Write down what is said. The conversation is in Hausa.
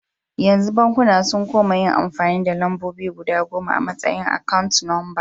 Yanzu bankuna sun koma yin amfani da lambobi guda goma a tsayin akawun lamba.